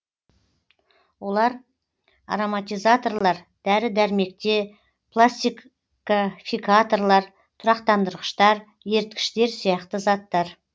олар ароматизаторлар дәрі дәрмекте пластификаторлар тұрақтандырғыштар еріткіштер сияқты заттар